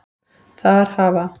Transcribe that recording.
Þar hafa